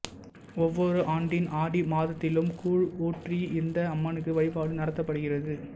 ஒவ்வொரு ஆண்டின் ஆடி மாதத்திலும் கூழ் ஊற்றி இந்த அம்மனுக்கு வழிபாடு நடத்தப்படுகிறது